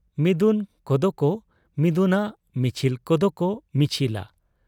ᱢᱤᱫᱩᱱ ᱠᱚᱫᱚᱠᱚ ᱢᱤᱫᱩᱱᱟ, ᱢᱤᱪᱷᱤᱞ ᱠᱚᱫᱚᱠᱚ ᱢᱤᱪᱷᱤᱞᱟ ᱾